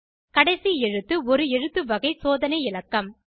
கடைசி எழுத்து ஒரு எழுத்து வகை சோதனை இலக்கம்